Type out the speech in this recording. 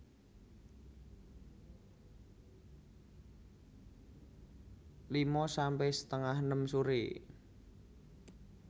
lima sampe setengah enem sore